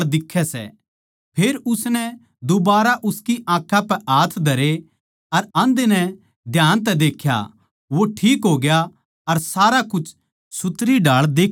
फेर उसनै दुबारा उसकी आँखां पै हाथ धरे अर आंधे नै ध्यान तै देख्या वो ठीक होग्या अर सारा कुछ सुथरीढाळ देक्खण लाग्या